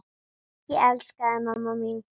Ég elska þig, mamma mín.